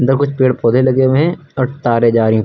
अंदर कुछ पेड़ पौधे लगे हुए है और तारे जा रही उपर--